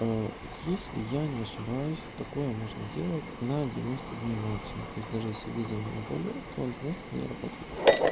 если я не ошибаюсь такое можно делать на девяносто дней максимум то есть даже если виза у него на полгода то он девяносто дней работает